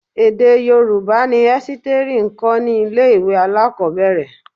Èdè Yorùbá ni Ẹ́sítérì ń kọ́ ní ilé-ìwé alakobere.